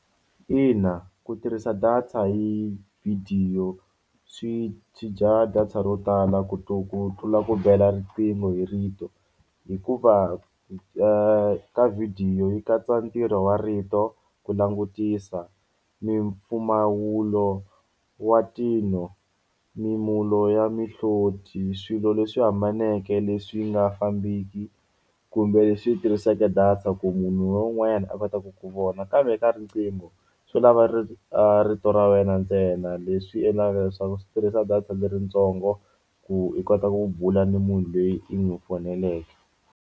Ina ku tirhisa data hi vhidiyo swi swi dya data ro tala ku ku tlula ku bela riqingho hi rito hikuva ka vhidiyo yi katsa ntirho wa rito ku langutisa mimpfumawulo wa tilo mimulo ya mihloti swilo leswi hambaneke leswi nga fambiki kumbe leswi tirhiseke data ku munhu loyi un'wanyana a kotaka ku vona kambe eka riqingho swi lava a rito ra wena ntsena leswi endlaka leswaku swi tirhisa data leritsongo ku i kota ku bula ni munhu loyi i n'wi faneleke.